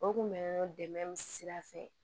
O kun bɛ dɛmɛ sira fɛ